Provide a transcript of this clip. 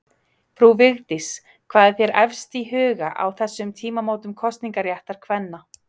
Frú Vigdís, hvað er þér efst í huga á þessum tímamótum kosningaréttar kvenna?